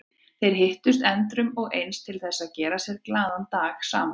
Þeir hittust endrum og eins til þess að gera sér glaðan dag saman.